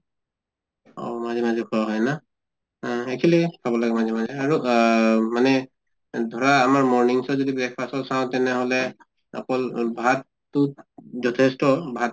অহ মাজে মাজে খোৱা হয় না? অহ actually খাব লাগে মাজে মাজে আৰু আহ মানে ধৰা আমাৰ mornings ত যদি breakfast টো চাওঁ তেনেহʼলে অকল ভাততো য্থেষ্ট ভাত